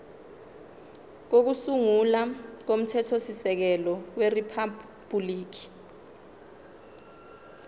kokusungula komthethosisekelo weriphabhuliki